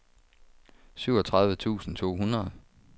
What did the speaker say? syvogtredive tusind to hundrede